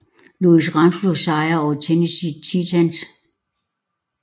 Louis Rams efter sejr over Tennessee Titans